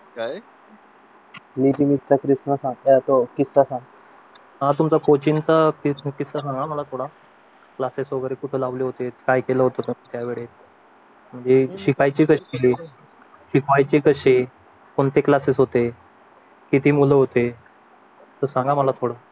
classes वगैरे ते होते काय केलं होतं त्यावेळेस जे शिपाई तिथेच ठेवले ते पाहायचे कसे कोणते क्लासेस होते किती मुलं होते सांगा आम्हाला थोडं